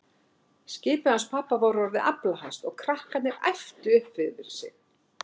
Skipið hans pabba var orðið aflahæst og krakkarnir æptu upp yfir sig.